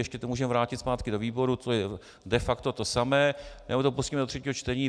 Ještě to můžeme vrátit zpátky do výboru, to je de facto to samé, nebo to pustíme do třetího čtení.